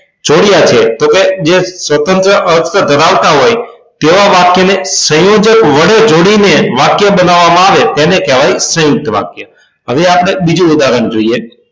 જોડ્યા કે તો કે જે સ્વતંત્ર અર્થ ધરાવતા હોય તેવા વાક્ય ને સંયોજક વડે જોડીને વાક્ય બનાવવામાં આવે તેને કહેવાય સયુંકત વાક્ય હવે આપણે બીજું ઉદાહરણ જોઈએ